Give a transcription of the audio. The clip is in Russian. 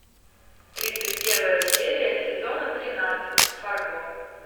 тридцать первая серия сезона тринадцать фарго